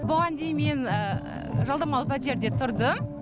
бұған дейін мен жалдамалы пәтерде тұрдым